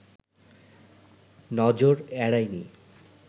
নজর এড়ায় নি